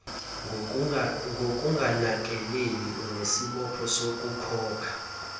ngokunganakeleli unesibopho sokukhokha